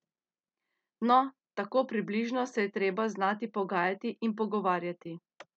No, tako približno se je treba znati pogajati in pogovarjati!